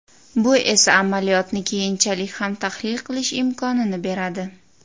Bu esa amaliyotni keyinchalik ham tahlil qilish imkonini beradi.